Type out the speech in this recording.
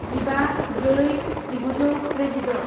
जिबा ब्रै जिगुजौ ब्रैजिद'